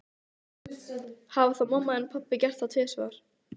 Hafa þá pabbi þinn og mamma gert það tvisvar?